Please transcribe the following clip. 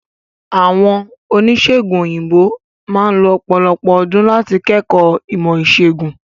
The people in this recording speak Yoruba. Àwọn Oníṣègùn òyìnbó máà lo ọ̀pọ̀lọpọ̀ ọdún láti kẹ́kọ̀ọ́ ìmọ̀ ìṣègùn.